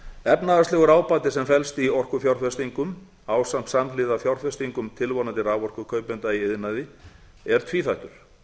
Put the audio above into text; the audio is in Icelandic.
efnahagslegur ábati sem felst í orkufjárfestingum ásamt samhliða fjárfestingum tilvonandi raforkukaupenda í iðnaði er tvíþættur